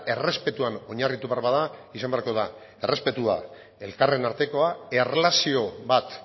errespetuan oinarritu behar bada izan beharko da errespetua elkarren artekoa erlazio bat